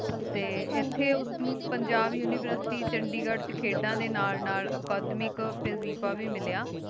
T ਇਥੀ ਓਸ ਨੂ ਪੰਜਾਬ ਉਨਿਵੇਰ੍ਸਿਟੀ ਚੰਡੀਗੜ੍ਹ ਵਿਚ ਖੇਡਾਂ ਦੇ ਨਾਲ ਨਾਲ ਅਕਾਦਮਿਕ ਵਾਜ਼ੀਫ਼ ਵੇ ਮਿਲਯਾ